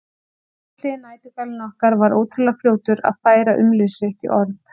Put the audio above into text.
Litli næturgalinn okkar var ótrúlega fljótur að færa umlið sitt í orð.